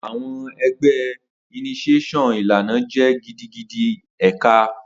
Awọn ẹgbẹ initiation ilana jẹ gidigidi eka